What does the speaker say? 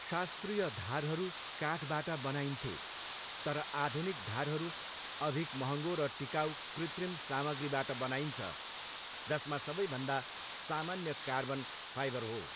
शास्त्रीय धारहरू काठबाट बनाइन्थे, तर आधुनिक धारहरू अधिक महँगो र टिकाउ कृतिम सामग्रीबाट बनाइन्छ, जसमा सबैभन्दा सामान्य कार्बन फाइबर हो।